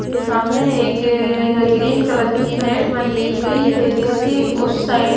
सामने एक green colour की नेट बंधी हुई है जिसकी उस साइड --